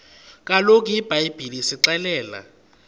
kaloku ibhayibhile isixelela